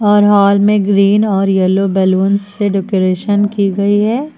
और हॉल में ग्रीन और येलो बलून से डेकोरेशन की गई है।